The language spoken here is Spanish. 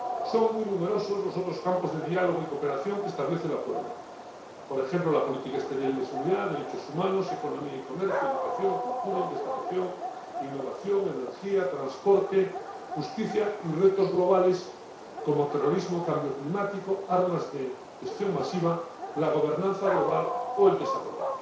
Son muy numerosos los otros campos de diálogo y cooperación que establece el Acuerdo, por ejemplo la política exterior y de seguridad, derechos humanos, economía y comercio, educación, cultura, investigación, innovación, energía, transporte, justicia y retos globales como terrorismo, cambio climático, armas de destrucción masiva, la gobernanza global o el desarrollo.